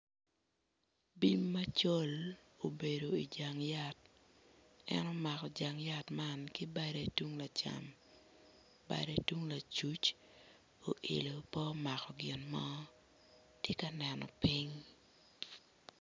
Bim macol obedo ijang yat en omako jang yat man ki badde tung lacam badde tung lacuc oilo pe omako gin mo tye ka neno piny.